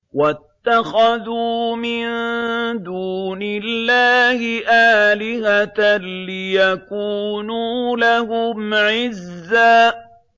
وَاتَّخَذُوا مِن دُونِ اللَّهِ آلِهَةً لِّيَكُونُوا لَهُمْ عِزًّا